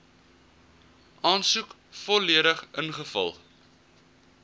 aansoek volledig ingevul